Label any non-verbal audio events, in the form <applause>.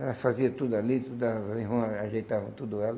Ela fazia tudo ali, tudo, ela <unintelligible> ajeitava tudo ela,